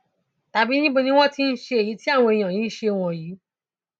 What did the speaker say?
tàbí níbo ni wọn ti ń ṣe èyí tí àwọn èèyàn yìí ń ṣe wọnyí